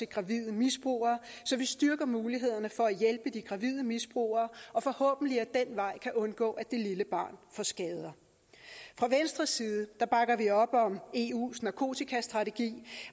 gravide misbrugere så vi styrker mulighederne for at hjælpe de gravide misbrugere og forhåbentlig ad den vej kan undgå at det lille barn får skader fra venstres side bakker vi op om eus narkotikastrategi